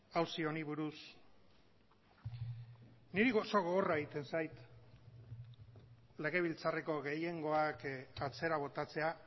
auzi honi buruz niri oso gogorra egiten zait legebiltzarreko gehiengoak atzera botatzea